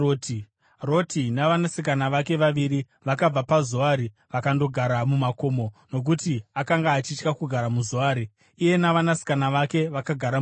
Roti navanasikana vake vaviri vakabva paZoari vakandogara mumakomo, nokuti akanga achitya kugara muZoari. Iye navanasikana vake vakagara mubako.